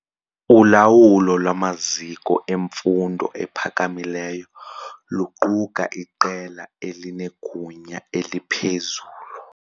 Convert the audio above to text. Ulawulo lwamaziko emfundo ephakamileyo luquka iqela elinegunya eliphezulu.